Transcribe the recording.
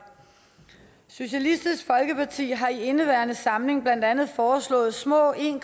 socialistisk folkeparti har i indeværende samling blandt andet foreslået små en